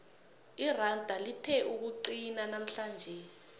iranda lithe ukuqinaqina namhlanje